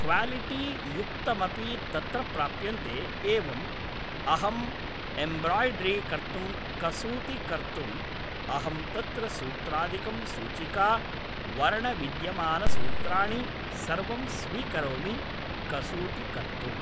quality युक्तमपि तत्र प्राप्यन्ते एवम् अहम् एम्ब्राय्ड्रि कर्तुं कसूति कर्तुम् अहं तत्र सूत्रादिकं सूचिका वर्णविद्यमानसूत्राणि सर्वं स्वीकरोमि कसूति कर्तुम्